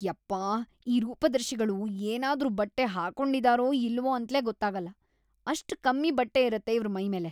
ಯಪ್ಪಾ! ಈ ರೂಪದರ್ಶಿಗಳು ಏನಾದ್ರೂ ಬಟ್ಟೆ ಹಾಕೊಂಡಿದಾರೋ ಇಲ್ವೋ ಅಂತ್ಲೇ ಗೊತ್ತಾಗಲ್ಲ.. ಅಷ್ಟ್‌ ಕಮ್ಮಿ ಬಟ್ಟೆ ಇರತ್ತೆ ಇವ್ರ್ ಮೈಮೇಲೆ.